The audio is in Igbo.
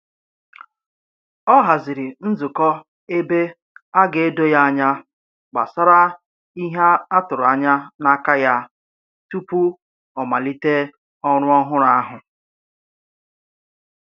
Ọ haziri nzukọ ebe a ga-edo ya anya gbasara ihe a tụrụ anya n'aka ya tupu ọ malite ọrụ ọhụrụ ahụ.